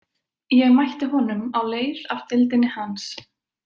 Ég mætti honum á leið af deildinni hans.